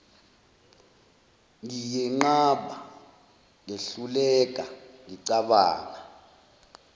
ngiyenqaba ngehluleka ngicabanga